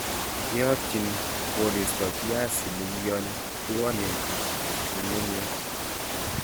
Kiotyin koristo biaisinik yon twonen ng'ung'unyek.